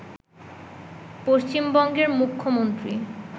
পশ্চিমবঙ্গের মুখ্যমন্ত্রী